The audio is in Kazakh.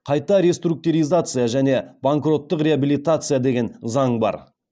қайта реструктиризация және банкроттық реабелитация деген заң бар